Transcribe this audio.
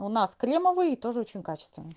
у нас кремовые и тоже очень качественные